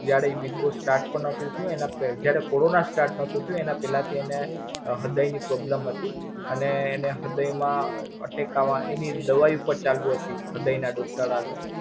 જયારે Big Boss Start પણ નોતું થયું અને પે જયારે Corona start નોતું થયુ અને પેલા થીએને હૃદય ની problem હતી અને એને હૃદય માં attack આવા એની દવા પર ચાલુ હતી હૃદય ના doctor હારે.